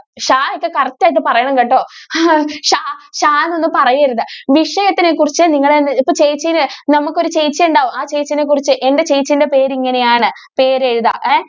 correct ആയിട്ട് പറയണം കേട്ടോ ച ചാ എന്നൊന്നും പറയരുത്. വിഷയത്തിനെ കുറിച്ച് നിങ്ങൾ ഇപ്പൊ ചേച്ചിനെ നമുക്കൊരു ചേച്ചി ഉണ്ടാവും. ആ ചേച്ചിയെ കുറിച്ച് എന്റെ ചേച്ചിടെ പേര് ഇങ്ങനെ ആണ് പേര് എഴുതാ.